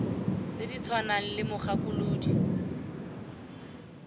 tse di tshwanang le mogakolodi